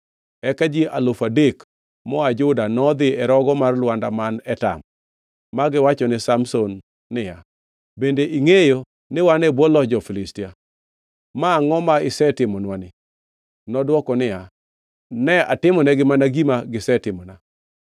Eka ji alufu adek moa Juda nodhi e rogo mar lwanda man Etam ma giwachone Samson niya, “Bende ingʼeyo ni wan e bwo loch jo-Filistia? Ma angʼo ma isetimonwani?” Nodwoko niya, “Ne atimonegi mana gima gisetimona.”